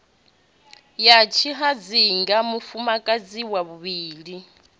ya tshihadzinga mufumakadzi wa vhuvhili